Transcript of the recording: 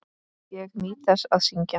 Ég nýt þess að syngja.